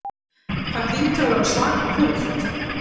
Það hlýtur að vera svaka púlt.